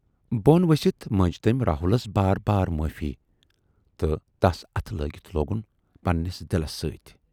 بۅن ؤسِتھ مٔنج تمٔۍ راہُلس بار بار معٲفی تہٕ تَس اتھٕ لٲگِتھ لوگُن پنہٕ نِس دِلس سۭتۍ۔